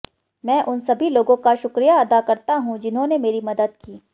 मैं उन सभी लोगों का शुक्रिया अदा करता हूं जिन्होंने मेरी मदद की